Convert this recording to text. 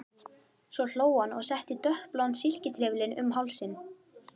Svo hló hann og setti dökkbláan silkitrefilinn um hálsinn.